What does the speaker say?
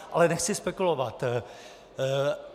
Ale nechci spekulovat.